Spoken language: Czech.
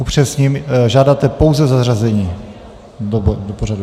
Upřesním - žádáte pouze zařazení do pořadu.